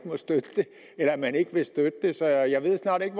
at støtte det så jeg ved snart ikke